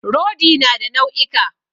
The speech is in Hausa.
Rodi na da nau'ika.